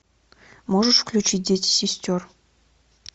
можешь включить дети сестер